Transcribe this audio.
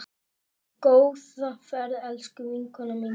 Góða ferð, elsku vinkona mín.